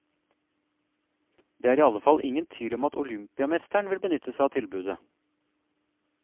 Det er i alle fall ingen tvil om at olympiamesteren vil benytte seg av tilbudet.